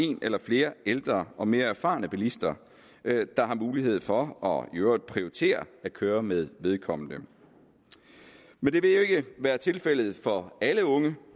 en eller flere ældre og mere erfarne bilister der har mulighed for og i øvrigt prioriterer at køre med vedkommende men det vil jo ikke være tilfældet for alle unge